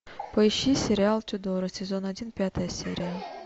поищи сериал тюдоры сезон один пятая серия